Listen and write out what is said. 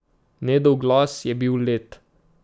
Nedov glas je bil led.